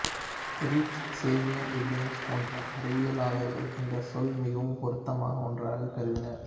ரிட்ச் சேவியன் வில்லியம்சு போன்ற அறிவியலாளர்கள் இந்தச் சொல் மிகவும் பொருத்தமான ஒன்றாக கருதினர்